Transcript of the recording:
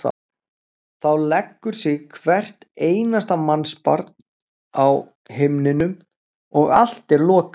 Þá leggur sig hvert einasta mannsbarn á himnum og allt er lokað.